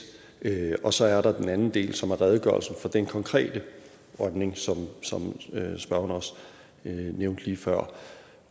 og så er der den anden del som er redegørelsen af den konkrete rømning som spørgeren også nævnte lige før